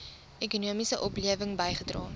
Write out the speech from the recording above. ekonomiese oplewing bygedra